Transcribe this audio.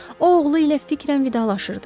O oğlu ilə fikrən vidalaşırdı.